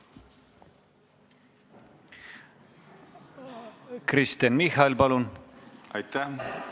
Aitäh!